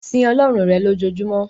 Sin Ọlọ́run rẹ̀ lojoojumọ́!